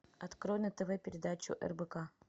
открой на тв передачу рбк